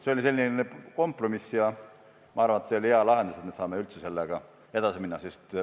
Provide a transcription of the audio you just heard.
See oli selline kompromiss ja ma arvan, et see oli hea lahendus, sest me saame sellega ikkagi edasi minna.